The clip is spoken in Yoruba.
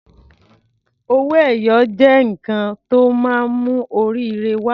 Owó ẹyọ jẹ́ nǹkan tó máa ń mú oríire wa.